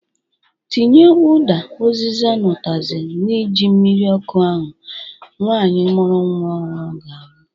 Tinye ụda, uziza na utazi na ji mmiri ọkụ ahụ nwanyị mụrụ nwa ọhụrụ ga-anwụ